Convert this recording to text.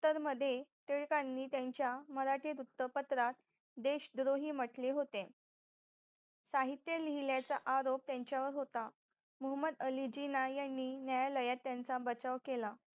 तर मध्ये टिळकांनी त्यांच्या मराठी वृत्तपत्रात देशद्रोही म्हंटले होते साहित्य लिहिल्याचा आरोप त्यांच्यावर होता मोहमद अली जीना यांनी न्यायालयात त्यांचा बचाव केला